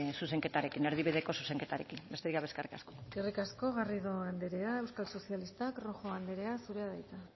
erdibideko zuzenketarekin besterik gabe eskerrik asko eskerrik asko garrido andrea euskal sozialistak rojo andrea zurea da hitza